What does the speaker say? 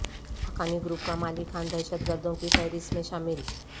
Haqqani group کا مالی خان دہشت گردوں کی فہرست میں شامل